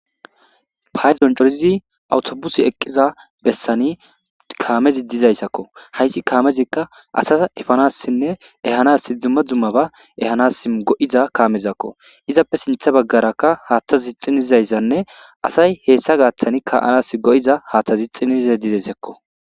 Payzon corizi awutobusi eqqiza bessani kaamezi dizayssakko haysi kaamezikka asa efanassinne ehanas dzumma dzumma ba ehanas go'iza kaamezakko izappe sintha baggarakka haaththazi xinizayssanne asay heessa gaaththani ka'anas go'iza haaththazi xinize dizesekko